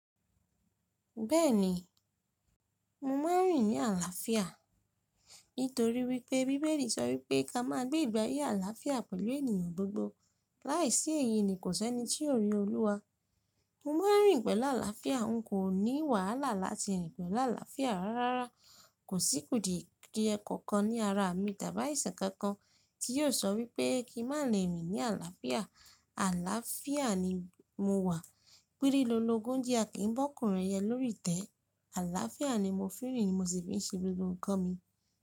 Bẹ́ẹ̀ni, mo ma n rìn ní àlàáfíà. Nítorí wípé Bíbélì sọ wípé ká máa gbé ìgbé ayé àlàáfíà pẹ̀lú ènìyàn gbogbo. Láìsí èyí ni kò sẹ́ni tí yóò rí Olúwa. Mo ma n rìn pẹ̀lú àlàáfíà. N kò ní wàhálà láti rìn pẹ̀lú àlàáfíà. Rárá, kò sí kùdìdì ẹ̀kọ̀kan ní ara mi tàbí àìsàn kankan tí yóò sọ wípé kí n má lè rìn ní àlàáfíà. Àlàáfíà ni mo wà. Pírílólogún jí a kì í bọ́kùrin ẹyẹ lórí tẹ́. Àlàáfíà ni mo fi n rìn ni mo sì fi n ṣe gbogbo nnkan mi.